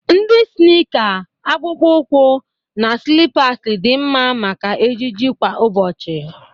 Ndị snịịka, akpụkpọ ụkwụ, na slippers dị mma maka ejiji kwa ụbọchị..